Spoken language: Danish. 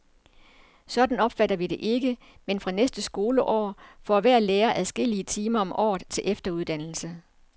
Sådan opfatter vi det ikke, men fra næste skoleår får hver lærer adskillige timer om året til efteruddannelse.